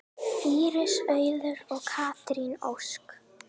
Íris Auður og Katrín Ósk.